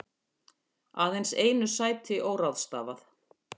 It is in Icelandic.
Aðeins einu sæti óráðstafað